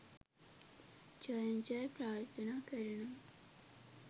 ජයෙන් ජය ප්‍රාර්ථනා කරනවා